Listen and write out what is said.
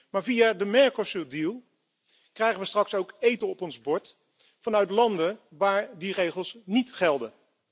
Maar via de Mercosur overeenkomst krijgen we straks ook eten op ons bord vanuit landen waar die regels niet gelden.